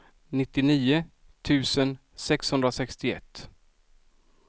nittionio tusen sexhundrasextioett